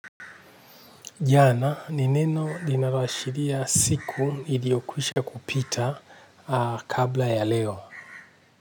Jana, ni neno linaloashiria siku iliyokwisha kupita kabla ya leo.